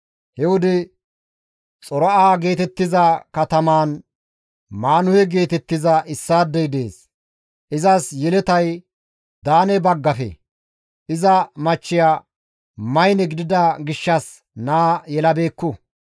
He wode Xora7a geetettiza katamaan Maanuhe geetettiza issaadey dees; izas yeletay Daane baggafe; iza machchiya maynne gidida gishshas naa yelabeekku.